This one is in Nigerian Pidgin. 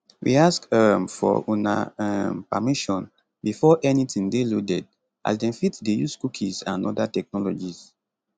we ask um for una um permission before anytin dey loaded as dem fit dey use cookies and oda technologies